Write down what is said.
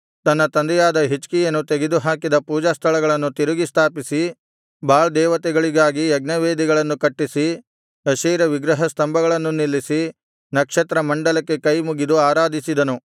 ತನ್ನ ತಂದೆಯಾದ ಹಿಜ್ಕೀಯನು ತೆಗೆದುಹಾಕಿದ ಪೂಜಾಸ್ಥಳಗಳನ್ನು ತಿರುಗಿ ಸ್ಥಾಪಿಸಿ ಬಾಳ್ ದೇವತೆಗಳಿಗಾಗಿ ಯಜ್ಞವೇದಿಗಳನ್ನು ಕಟ್ಟಿಸಿ ಅಶೇರ ವಿಗ್ರಹ ಸ್ತಂಭಗಳನ್ನು ನಿಲ್ಲಿಸಿ ನಕ್ಷತ್ರಮಂಡಲಕ್ಕೆ ಕೈಮುಗಿದು ಆರಾಧಿಸಿದನು